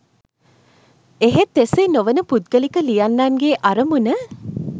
එහෙත් එසේ නොවන පුද්ගලික ලියන්නන්ගේ අරමුණ